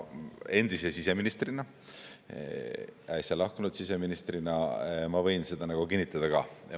Endise siseministrina, äsja lahkunud siseministrina ma võin seda kinnitada.